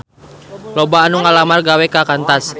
Loba anu ngalamar gawe ka Qantas